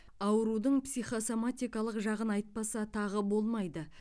аурудың психосоматикалық жағын айтпаса тағы болмайды